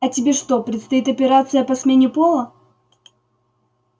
а тебе что предстоит операция по смене пола